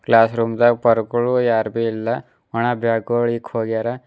ಕ್ಲಾಸ್ಮೇರೂಮ್ ದಾಗ್ ಪರ್ಗೋಳು ಯಾರ್ದು ಇಲ್ಲ ಒಣ ಬ್ಯಾಗ್ ಗೊಳು ಇಕ್ಕ್ ಹೋಗ್ಯಾರ.